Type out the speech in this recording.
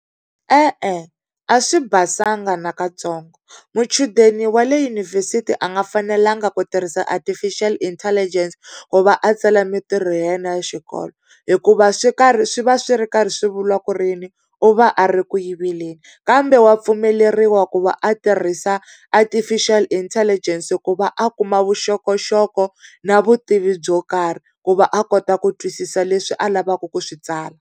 E-e, a swi basanga nakatsongo muchudeni wa le yunivhesiti a nga fanelanga ku tirhisa Artificial Intelligence ku va a tsala mintirho ya yena ya xikolo, hikuva swi karhi swi va swi ri karhi swi vuriwa ku ri yini u va a ri ku yiveleni. Kambe wa pfumeleriwa ku va a tirhisa Artificial Intelligence ku va a kuma vuxokoxoko na vutivi byo karhi, ku va a kota ku twisisa leswi a lavaka ku swi tsala.